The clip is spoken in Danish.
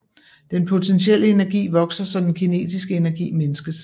Den potentielle energi vokser så den kinetiske energi mindskes